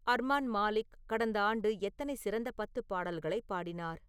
அர்மான் மாலிக் கடந்த ஆண்டு எத்தனை சிறந்த பத்து பாடல்களைப் பாடினார்